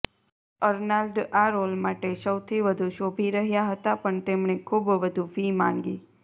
Arnold આ role માટે સૌથી વધુ શોભી રહ્યા હતા પણ તેમણે ખૂબ વધુ ફી માંગી